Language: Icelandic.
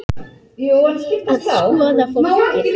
Að skoða fólkið.